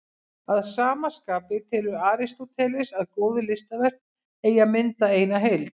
Að sama skapi telur Aristóteles að góð listaverk eigi að mynda eina heild.